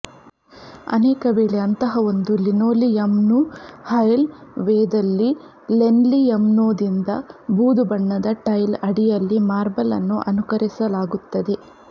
ಅನೇಕವೇಳೆ ಅಂತಹ ಒಂದು ಲಿನೋಲಿಯಮ್ನ್ನು ಹೈಲ್ ವೇದಲ್ಲಿ ಲೇನ್ಲಿಯಮ್ನೊಂದಿಗೆ ಬೂದು ಬಣ್ಣದ ಟೈಲ್ ಅಡಿಯಲ್ಲಿ ಮಾರ್ಬಲ್ ಅನ್ನು ಅನುಕರಿಸಲಾಗುತ್ತದೆ